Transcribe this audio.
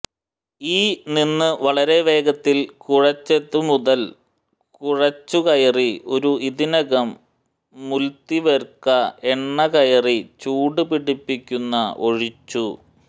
ഈ നിന്ന് വളരെ വേഗത്തിൽ കുഴെച്ചതുമുതൽ കുഴച്ചു കയറി ഒരു ഇതിനകം മുല്തിവര്ക എണ്ണ കയറി ചൂടുപിടിപ്പിക്കുന്ന ഒഴിച്ചു